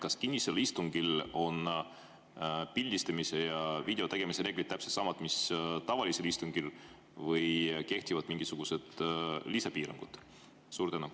Kas kinnisel istungil on pildistamise ja video tegemise reeglid täpselt samad, mis tavalisel istungil, või kehtivad mingisugused lisapiirangud?